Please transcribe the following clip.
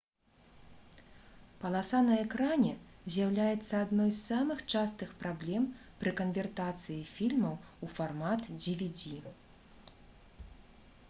паласа на экране з'яўляецца адной з самых частых праблем пры канвертацыі фільмаў у фармат dvd